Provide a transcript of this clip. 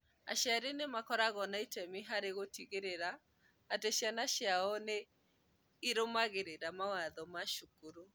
Aciari arĩa makoragwo na itemi harĩ gũtigĩrĩra atĩ ciana ciao nĩ irũmagĩrĩra mawatho ma cukuru